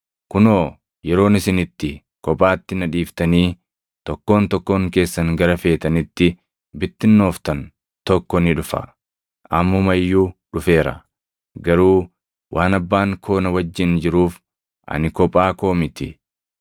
Kunoo yeroon isin itti kophaatti na dhiiftanii tokkoon tokkoon keessan gara feetanitti bittinnooftan tokko ni dhufa. Ammuma iyyuu dhufeera. Garuu waan Abbaan koo na wajjin jiruuf ani kophaa koo miti.